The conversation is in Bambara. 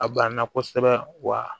A banna kosɛbɛ wa